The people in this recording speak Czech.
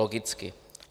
Logicky.